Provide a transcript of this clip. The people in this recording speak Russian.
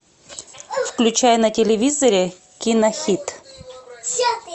включай на телевизоре кинохит